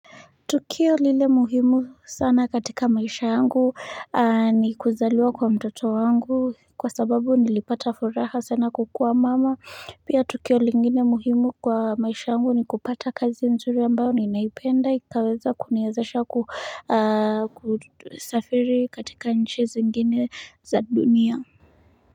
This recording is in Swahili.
Tukio lile muhimu sana katika maisha yangu ni kuzaliwa kwa mtoto wangu kwa sababu nilipata furaha sana kukuwa mama pia tukio lingine muhimu kwa maisha yangu ni kupata kazi nzuri ambayo ninaipenda ikaweza kuniwezesha kusafiri katika nchi zingine za dunia.